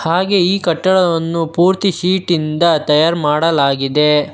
ಹಾಗೆ ಈ ಕಟ್ಟಡವನ್ನು ಪೂರ್ತಿ ಶೀಟ್ ಇಂದ ತಯಾರ್ ಮಾಡಲಾಗಿದೆ.